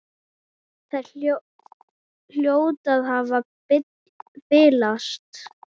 Þær hljóta að hafa bilast!